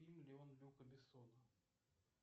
фильм леон люка бессона